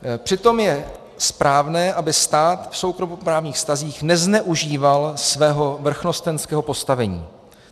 Přitom je správné, aby stát v soukromoprávních vztazích nezneužíval svého vrchnostenského postavení.